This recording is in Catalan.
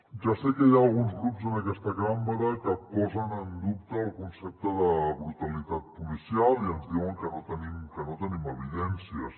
ja sé que hi ha alguns grups en aquesta cambra que posen en dubte el concepte de brutalitat policial i ens diuen que no en tenim evidències